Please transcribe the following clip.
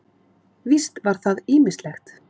Víst var það ýmislegt.